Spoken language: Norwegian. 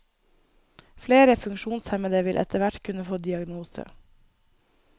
Flere funksjonshemmede vil etterhvert kunne få diagnose.